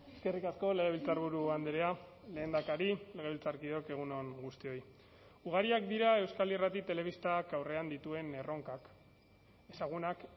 eskerrik asko legebiltzarburu andrea lehendakari legebiltzarkideok egun on guztioi ugariak dira euskal irrati telebistak aurrean dituen erronkak ezagunak